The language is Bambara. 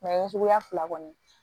suguya fila kɔni